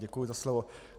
Děkuji za slovo.